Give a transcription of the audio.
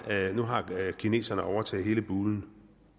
at nu har kineserne overtaget hele bulen